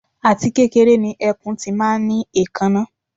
Àti kékeré ni ẹkùn ti máa ń ní èékáná